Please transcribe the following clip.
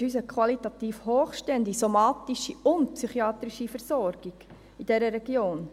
Wir wünschen uns eine qualitativ hochstehende, somatische und psychiatrische Versorgung in dieser Region.